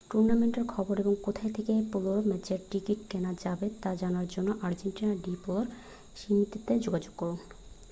টুর্নামেন্টের খবর এবং কোথা থেকে পোলো ম্যাচের টিকিট কেনা যাবে তা জানার জন্য আর্জেন্টিনা ডি পোলো সমিতিতে যোগাযোগ করুন